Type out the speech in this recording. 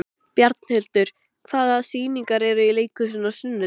Bjarnhildur, hvaða sýningar eru í leikhúsinu á sunnudaginn?